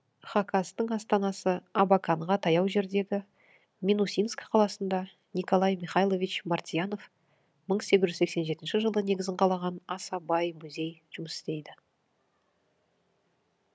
хакастың астанасы абаканға таяу жердегі минусинск қаласында николай михайлович мартьянов мың сегіз жүз сексен жетінші жылы негізін қалаған аса бай музей жұмыс істейді